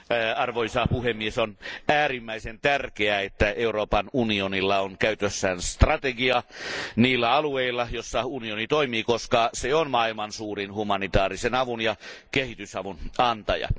Arvoisa puhemies, on äärimmäisen tärkeää, että Euroopan unionilla on käytössään strategia niillä alueilla, joilla unioni toimii, koska se on maailman suurin humanitaarisen avun ja kehitysavun antaja.